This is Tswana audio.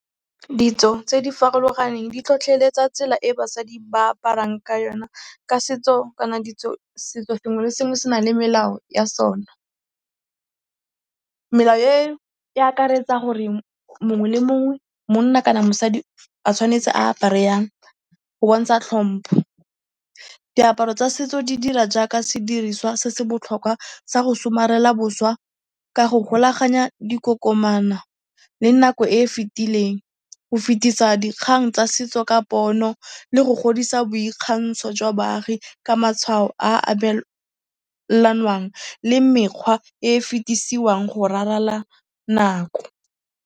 Ditso tse di farologaneng di tlhotlheletsa tsela e basadi ba aparang ka yona ka setso kana setso sengwe le sengwe se na le melao ya sona. Melao e e akaretsa gore mongwe le mongwe monna kana mosadi a tshwanetse a apare yang go bontsha tlhompo. Diaparo tsa setso di dira jaaka sediriswa se se botlhokwa sa go somarela boswa ka go golaganya dikokomana le nako e e fetileng, go fetisa dikgang tsa setso ka pono le go godisa boikgantsho jwa baagi ka matshwao a abelanwang le mekgwa e e fetisiwang go raralla nako.